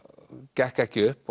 gekk ekki upp